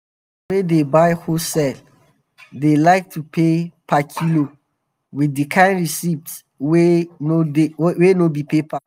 customers wey dey buy wholesale dey like to pay per kilo with di kain receipt wey no be paper.